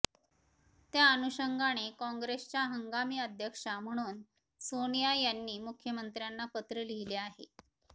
त्या अनुषंगाने काँग्रेसच्या हंगामी अध्यक्षा म्हणून सोनिया यांनी मुख्यमंत्र्यांना पत्र लिहिले आहे